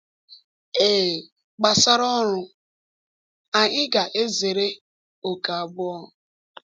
Ee, gbasara ọrụ, anyị ga-ezere ókè abụọ.